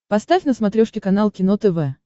поставь на смотрешке канал кино тв